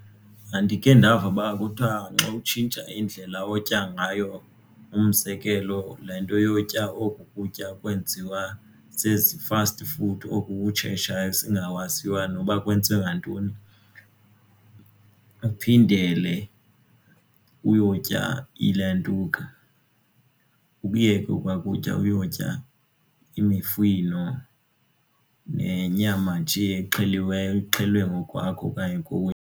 Ndandikhe ndava uba kuthiwa xa utshintsha indlela otya ngayo umzekelo le nto yotya oku kutya kwenziwa zezi-fasti food oku kutshetshayo esingakwaziyo noba kwenziwe ngantoni uphindele uyotya ilantuka ukuyeka okwa kutya uyotya imifino nenyama nje exheliweyo exhelwe ngokwakho okanye kowenu.